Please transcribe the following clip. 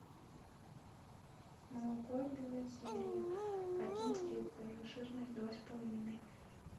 молоко белозерье один литр жирность два с половиной